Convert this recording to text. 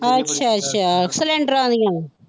ਅੱਛਾ ਅੱਛਾ cylinder ਆਲੀਆਂ।